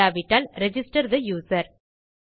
இல்லாவிட்டால் register the user